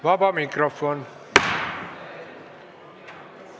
Vaba mikrofon.